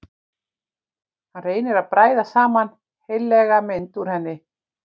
Hann reynir að bræða saman heillega mynd úr henni.